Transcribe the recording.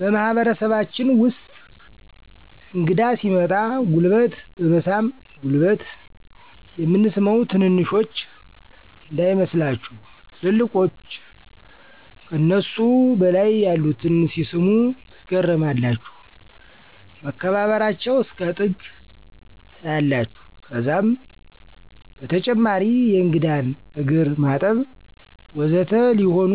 በማህበረሰባችን ውስጥ እንግዳ ሲመጣ ጉልበት በመሳም ጉልበት የምንስመው ትንንሾች እንዳይመስላችሁ ትልልቆች ከነሱ በላይ ያሉትን ሲስሙ ትገረማላችሁ መከባበበራቸው እስከ ጥግ ታያላችሁ ከዛም በተጨማሪ የእንግዳን እግርማጠብ ወዘተ ሊሆኑ